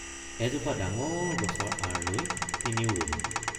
এজোপা ডাঙৰ গছৰ আঁৰ লৈ তিনিও ৰলো।